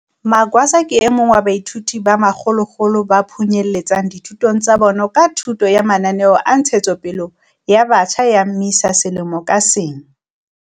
Magwaza ke e mong wa baithuti ba makgolokgolo ba phunyeletsang dithutong tsa bona ka thuso ya mananeo a ntshetsopele ya batjha a MISA selemo ka seng.